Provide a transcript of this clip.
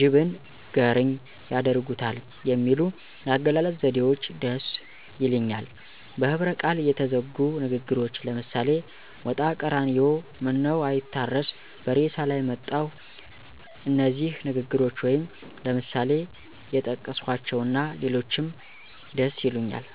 ጅብን ንገርኝ ያደርጉታል የሚሉ የአገላለጽ ዘዴዎች ደስ ይሊኛል። በህብረቃል የተዘጉ ንግግሮች ለምሳሌ ሞጣቀራኒዮ ምነዉአይታረስ በሬሳላይ መጣሁ እነዚህ ንግግሮች ወይም ለምሳሌ የጠቀስኀቸዉና ሌሎችንም ደስይሉኛል።